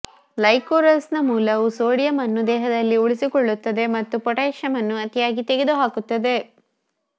ಲೈಕೋರೈಸ್ನ ಮೂಲವು ಸೋಡಿಯಂ ಅನ್ನು ದೇಹದಲ್ಲಿ ಉಳಿಸಿಕೊಳ್ಳುತ್ತದೆ ಮತ್ತು ಪೊಟ್ಯಾಸಿಯಮ್ ಅನ್ನು ಅತಿಯಾಗಿ ತೆಗೆದುಹಾಕುತ್ತದೆ